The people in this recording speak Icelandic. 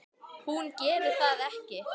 Hún gerir það ekki.